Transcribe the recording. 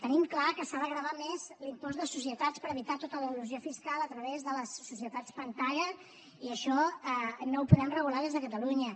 tenim clar que s’ha de gravar més l’impost de societats per evitar tota l’elusió fiscal a través de les societats pantalla i això no ho podem regular des de catalunya